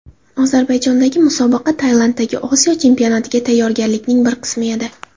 Ozarbayjondagi musobaqa Tailanddagi Osiyo chempionatiga tayyorgarlikning bir qismi edi.